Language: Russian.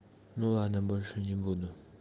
ну ладно больше не буду